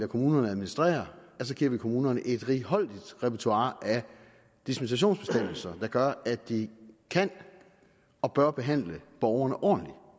kommunerne administrere giver vi kommunerne et righoldigt repertoire af dispensationsbestemmelser der gør at de kan og bør behandle borgerne ordentligt